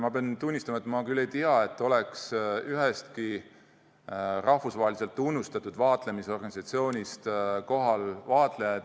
Ma pean tunnistama, et ma küll ei tea, et oleks ühestki rahvusvaheliselt tunnustatud vaatlemisorganisatsioonist vaatlejaid kohal olnud.